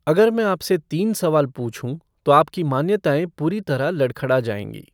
अगर मैं आपसे तीन सवाल पूछूं तो आपकी मान्यताएं पूरी तरह लडख़ड़ा जाएंगी।